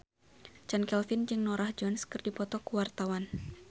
Chand Kelvin jeung Norah Jones keur dipoto ku wartawan